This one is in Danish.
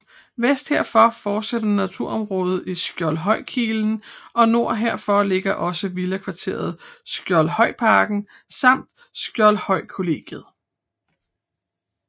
Vest herfor fortsætter naturområdet i Skjoldhøjkilen og nord herfor ligger også villakvarteret Skjoldhøjparken samt Skjoldhøjkollegiet